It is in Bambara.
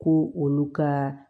Ko olu ka